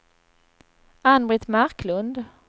Ann-Britt Marklund